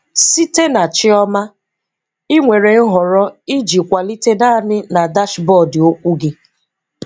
Site na chioma, ị nwere nhọrọ iji kwalite naanị na dashboard okwu gị.